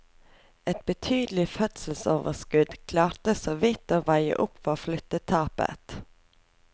Et betydelig fødselsoverskudd klarte såvidt å veie opp for flyttetapet.